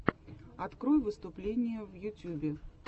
открой выступления в ютубе